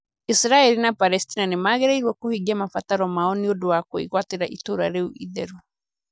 Isiraeli na Palesitina nĩ magĩrĩirũo kũhingia mabataro mao nĩ ũndũ wa kwĩgwatĩra itũũra rĩu itheru.